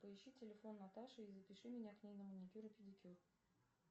поищи телефон наташи и запиши меня к ней на маникюр и педикюр